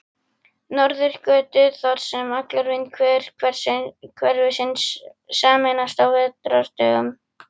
Norðurgötu, þar sem allar vindhviður hverfisins sameinast á vetrardögum.